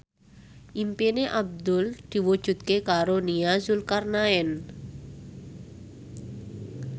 impine Abdul diwujudke karo Nia Zulkarnaen